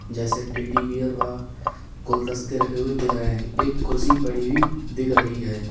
जैसे teddy bear व गुलदस्ते रखे हुए दिख रहे हैं एक कुर्सी पड़ी हुई दिख रही है।